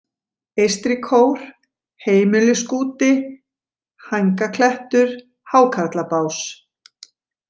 Eystri kór, Heimiluskúti, Hængaklettur, Hákarlabás